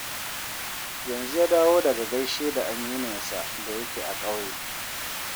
Yanzu ya dawo daga gaishe da amininsa da yake a ƙauye